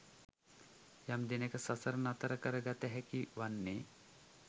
යම් දිනක සසර නතර කර ගත හැකි වන්නේ